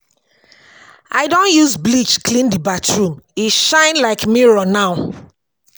I don use bleach clean di bathroom, e shine like mirror now.